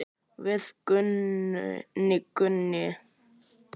Við Gunni.